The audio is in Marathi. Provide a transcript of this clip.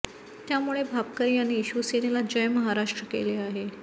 त्यामुळे भापकर यांनी शिवसेनेला जय महाराष्ट्र केले आहे